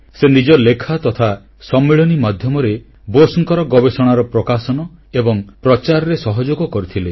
ସେ ନିଜ ଲେଖା ତଥା ସମ୍ମିଳନୀ ମାଧ୍ୟମରେ ବୋଷଙ୍କର ଗବେଷଣାର ପ୍ରକାଶନ ଓ ପ୍ରଚାରରେ ସହଯୋଗ କରିଥିଲେ